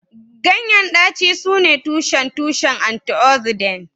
Ganyen daci sune tushen tushen antioxidant